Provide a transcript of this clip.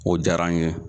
O diyara n ye